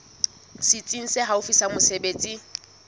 setsi se haufi sa mesebetsi